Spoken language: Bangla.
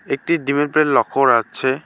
একটি ডিমের প্লেট লক্ষ্য করা যাচ্ছে।